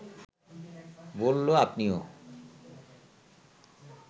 বলল, আপনিও